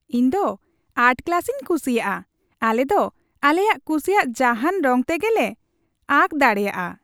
ᱤᱧ ᱫᱚ ᱟᱨᱴ ᱠᱞᱟᱥᱤᱧ ᱠᱩᱥᱤᱭᱟᱜᱼᱟ ᱾ ᱟᱞᱮ ᱫᱚ ᱟᱞᱮᱞᱮ ᱠᱩᱥᱤᱭᱟᱜ ᱡᱟᱦᱟᱱ ᱨᱚᱝ ᱛᱮᱜᱮ ᱞᱮ ᱟᱸᱠ ᱫᱟᱲᱮᱭᱟᱜᱼᱟ ᱾